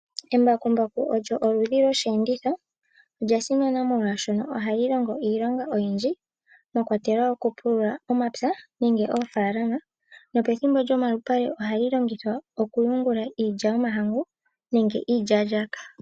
Embakumbaku olyo oludhi lwosheenditho. Olya simana molwashoka ohali longo iilonga oyindji mwa kwatelwa okupulula omapya nenge oofaalama, nopethimbo lyomalupale ohali longithwa okuyungula iilya yomahangu nenge iilyaalyaaka.